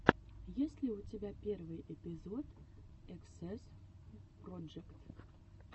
есть ли у тебя первый эпизод эксэс проджект